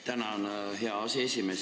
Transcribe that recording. Tänan, hea aseesimees!